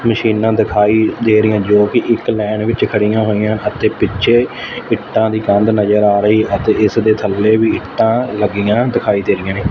ਮਸ਼ੀਨਾਂ ਦਿਖਾਈ ਦੇ ਰਹੀਆਂ ਜੋ ਕਿ ਇੱਕ ਲਾਈਨ ਵਿੱਚ ਖੜੀਆਂ ਹੋਈਆਂ ਅਤੇ ਪਿੱਛੇ ਇੱਟਾਂ ਦੀ ਕੰਧ ਨਜ਼ਰ ਆ ਰਹੀ ਅਤੇ ਇਸ ਦੇ ਥੱਲੇ ਵੀ ਇੱਟਾਂ ਲੱਗੀਆਂ ਦਿਖਾਈ ਦੇ ਰਹੀਆਂ ਨੇ।